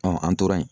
an tora yen